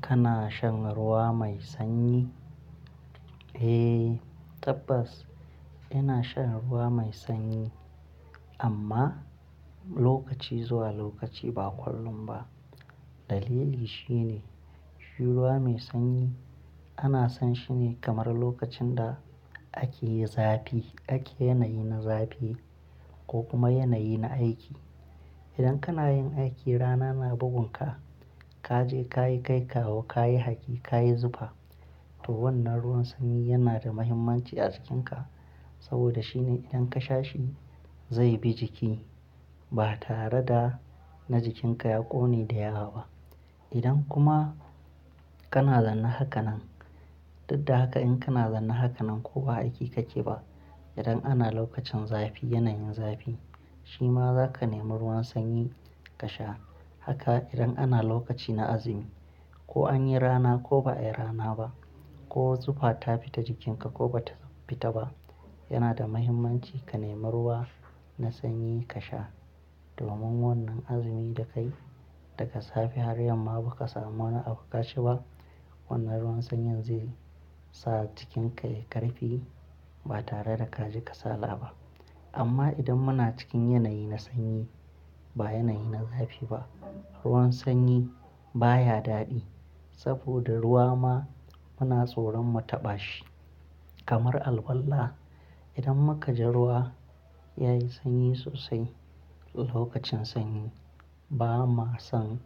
Kana shan ruwa mai sanyi? Eh tabbas ina shan ruwa mai sanyi amma lokaci zuwa lokaci ba kullum ba. Dalili shine, shi ruwa mai sanyi ana san shi ne kamar lokacin da ake yi zafi, ake yanayi na zafi ko kuma yanayi na aiki. Idan kana yin aiki rana na bugun ka, ka je ka yi kai kawo, ka yi haki, ka yi zufa to wannan ruwan sanyi yana da muhimmanci a jikinka saboda shine idan ka sha shi zai bi jiki ba tare da na jikinka ya ƙone da yawa ba. Idan kuma kana zanna haka nan, duk da haka in kana zanna haka nan ko ba aiki kake ba, idan ana lokacin zafi, yanayin zafi shi ma za ka nemi ruwan sanyi ka sha. Haka idan ana lokaci na azumi ko an yi rana ko ba a yi rana ba ko zufa ta fita jikinka ko ba ta fita ba, yana da muhimmanci ka nemi ruwa na sanyi ka sha domin wannan azumi da ka yi daga safe har yamma ba ka samu wani abu ka ci ba, wannan ruwan sanyi zai sa jikinka ya yi ƙarfi ba tare da kaji kasala ba. Amma idan muna cikin yanayi na sanyi ba yanayi na zafi ba, ruwan sanyi baya daɗi saboda ruwa ma muna tsoron mu taɓa shi. Kamar alwala, idan muka ji ruwa ya yi sanyi sosai lokacin sanyi ba ma son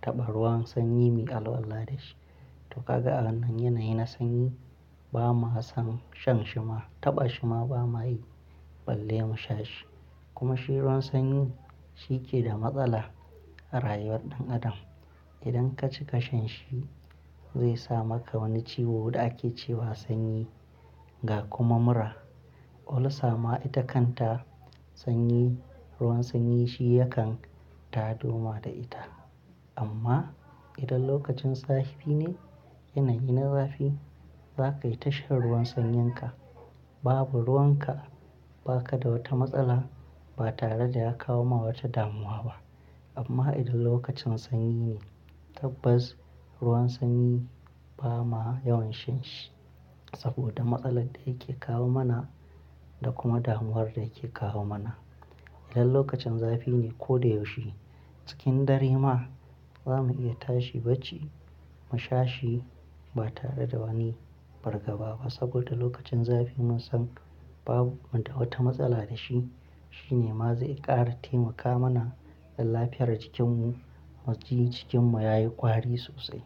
taɓa ruwan sanyi muyi alwala da shi. To kaga a wannan yanayi na sanyi ba ma son shan shi ma, taɓa shi ma ba ma yi, balle mu sha shi. Kuma shi ruwan sanyi shi ke da matsala a rayuwar ɗan adam. Idan ka cika shan shi zai sa maka wani ciwo da ake cewa sanyi ga kuma mura. Ulcer ma ita kanta sanyi, ruwan sanyi shi ya kan tado ma da ita. Amma idan lokacin zafi ne, yanayi na zafi za ka yi tashan ruwan sanyinka. Babu ruwan ka, ba ka da wata matsala ba tare da ya kawo ma wata damuwa ba. Amma idan lokacin sanyi ne tabbas ruwan sanyi ba ma yawan shan shi saboda matsalar da yake kawo mana da kuma damuwar da yake kawo mana. Idan lokacin zafi ne ko da yaushe cikin dare ma za mu iya tashi bacci mu sha shi ba tare da wani fargaba ba saboda lokacin zafi mun san babu mu da wata matsala da shi. Shi ne ma zai ƙara taimaka mana dan lafiyar jikin mu muji, jikin mu ya yi ƙwari sosai.